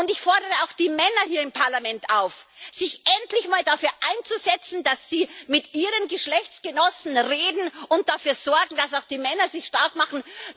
Ich fordere auch die Männer hier im Parlament auf, sich endlich mal dafür einzusetzen, dass sie mit ihren Geschlechtsgenossen reden und dafür sorgen, dass auch die Männer sich stark machen.